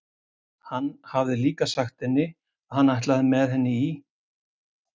Hann hafði líka sagt henni að hann ætlaði með henni í